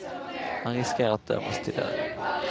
Han riskerar att dömas till döden.